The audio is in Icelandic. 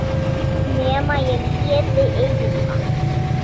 Nema ég léti eyða.